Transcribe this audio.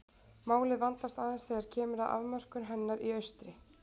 Málið vandast aðeins þegar kemur að afmörkun hennar í austri.